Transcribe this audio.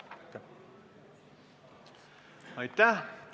Aitäh!